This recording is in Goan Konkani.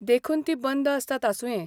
देखुन तीं बंद असतात आसुंये !